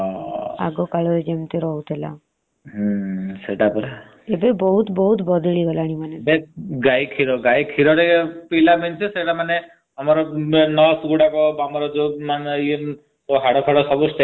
ଗାଈ କ୍ଷୀର । ଗାଈ କ୍ଷୀର ପେଇବା means nearves ଗୁଡାକ stamina ରହିବା ପାଇଁ ଗାଈ କ୍ଷୀର ପିଆ ଯାଏ ।